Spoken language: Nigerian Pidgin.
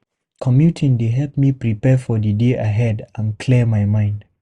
Commuting dey help me prepare for the day ahead and clear my mind.